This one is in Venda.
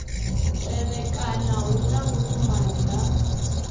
tevhekana hu na vhuṱumani ha